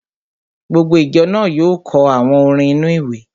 Gbogbo ìjọ náà yóò kọ àwọn orin inú-ìwé